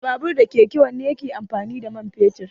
Da babur da keke wanne ne yake amfani da mai fetur?